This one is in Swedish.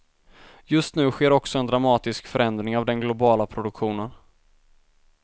Just nu sker också en dramatisk förändring av den globala produktionen.